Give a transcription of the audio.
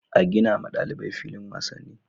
A ginawa ɗalibai filin wasanni